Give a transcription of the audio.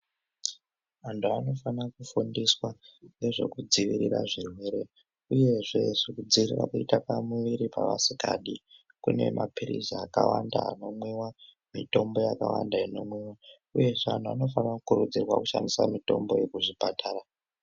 Antu anofana kugundiswa nezvekudziwirira zvirwere uyezve ngezvekudziwirira kuita pamuwiri paasikadi kune mapilisi akawanda anomwiwa mitombo yakawanda inomwiwa uyezve antu anokurudzirwa kushandise mitombo iyi kuzvipatara.